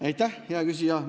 Aitäh, hea küsija!